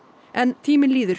en tíminn líður